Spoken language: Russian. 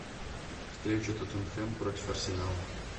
встреча тоттенхэм против арсенала